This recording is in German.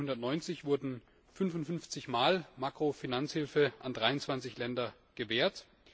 Seit 1990 wurde 55 mal Makrofinanzhilfe an 23 Länder gewährt.